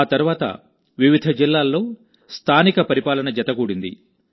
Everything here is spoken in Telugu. ఆ తర్వాత వివిధ జిల్లాల్లో స్థానిక పరిపాలన జత గూడింది